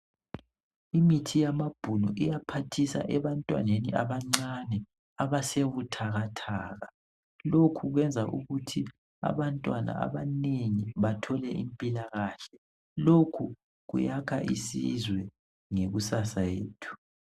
Imithi yamabhunu iyaphathisa ebantwaneni abancane abasebuthakathake .Lokhu kwenza ukuthi abantwana abanengi bathole impilakahle. Lokhu kuyakha isizwe lekusasa yethu.